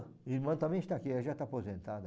A irmã também está aqui, ela já está aposentada.